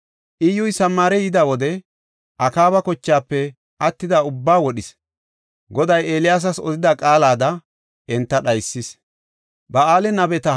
Iyyuy Samaare yida wode, Akaaba kochaafe attida ubbaa wodhis; Goday Eeliyaasas odida qaalada enta dhaysis.